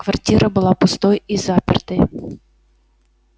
квартира была пустой и запертой